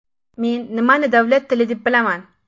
Men nimani davlat tili deb bilaman?